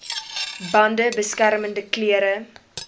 bande beskermende klere